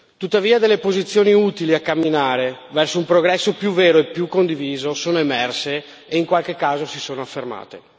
Tuttavia, delle posizioni utili a camminare verso un progresso più vero e più condiviso sono emerse e in qualche caso si sono affermate.